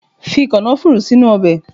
Fi kànáfùrù sínú Ọbè